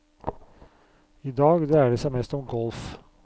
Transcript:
I dag dreier det seg mest om golf.